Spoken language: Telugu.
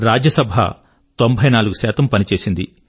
రాజ్యసభ 94 పని చేసింది